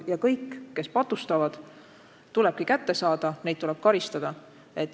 Ja kõik, kes patustavad, tulebki kätte saada ja neid tuleb karistada.